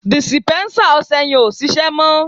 dìsìpénsá ọsẹ yen o ṣíṣe mo